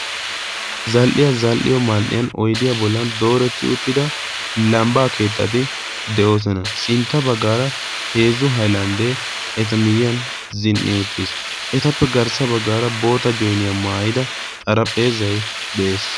zal"iya zal"iyo maan"iyan oydiyaa bollan dooretti uttida lambbaa keexxati de"oosona sintta baggaara heezzu hailanddee eta miyyiyan zin"i uxxiis etappe garssa baggaara boota joiniyaa maayida xarahpheezai de"ees.